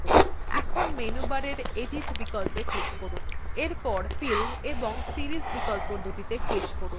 এখন মেনুবারের edit click করুন bar fill এবং series বিকল্পদুটিতে click করুন